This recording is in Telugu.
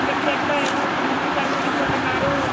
ఇక్కడ చేతిలో ఏమో గిఫ్ట్ పట్టుకొని పోతున్నారు.